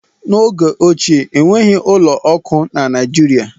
N'oge ochie enweghị ụlọ akụ na Naijirịa.